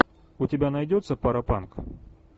у тебя найдется паропанк